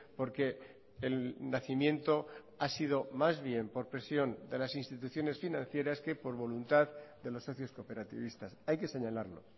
porque el nacimiento ha sido más bien por presión de las instituciones financieras que por voluntad de los socios cooperativistas hay que señalarlo